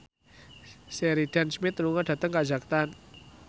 Sheridan Smith lunga dhateng kazakhstan